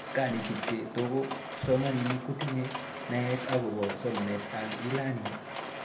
Tos kanetik che toko kipsomanik kotinye naet akopo somanet ab Elearning